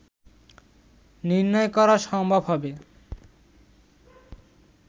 নির্ণয় করা সম্ভব হবে